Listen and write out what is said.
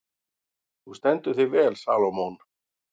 Þú stendur þig vel, Salómon!